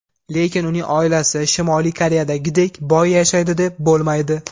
Lekin uning oilasi Shimoliy Koreyadagidek boy yashaydi, deb bo‘lmaydi.